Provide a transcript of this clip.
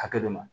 Hakɛ dɔ ma